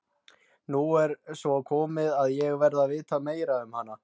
Nú er svo komið að ég verð að vita meira um hana.